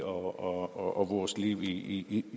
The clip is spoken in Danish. og vores liv i